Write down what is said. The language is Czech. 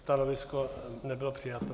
Stanovisko nebylo přijato.